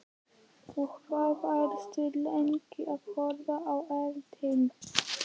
Og hvað, varstu lengi að horfa á eldinn?